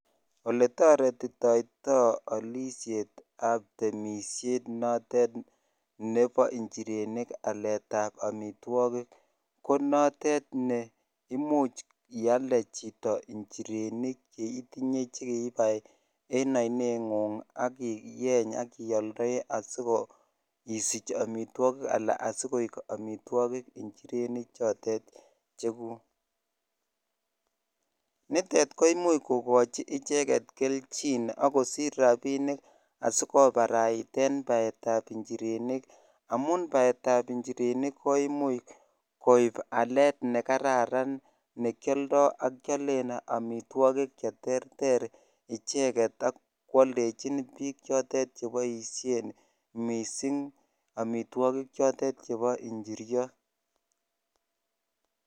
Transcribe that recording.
Oletarititai taai alisheet ap injireenik konitok komuchii ialdee injirenik ak komuch koeek amitwagik anan ialde sinyoruu rapisheeek ak koimuch ial amitwagik cheterter